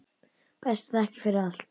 Bestu þakkir fyrir allt.